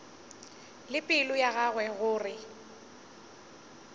le pelo ya gagwe gore